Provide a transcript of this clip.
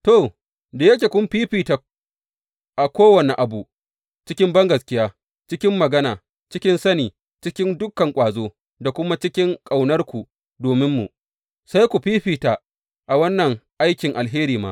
To, da yake kun fiffita a kowane abu cikin bangaskiya, cikin magana, cikin sani, cikin dukan ƙwazo, da kuma cikin ƙaunarku dominmu, sai ku fiffita a wannan aikin alheri ma.